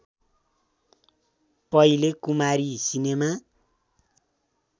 पहिले कुमारी सिनेमा